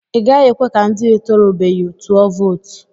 I gaghị ekwe ka ndị etorubeghi tụọ vootu.